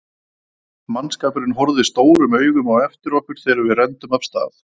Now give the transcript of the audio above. Mannskapurinn horfði stórum augum á eftir okkur þegar við renndum af stað.